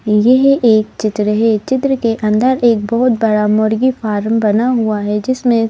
यह एक चित्र है चित्र के अंदर एक बहुत बड़ा मुर्गी फार्म बना हुआ है जिसमें--